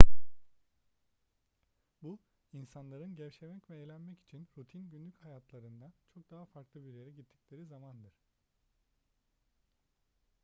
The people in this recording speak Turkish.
bu insanların gevşemek ve eğlenmek için rutin günlük hayatlarından çok daha farklı bir yere gittikleri zamandır